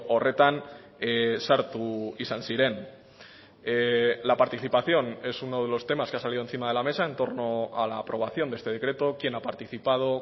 horretan sartu izan ziren la participación es uno de los temas que ha salido encima de la mesa en torno a la aprobación de este decreto quién ha participado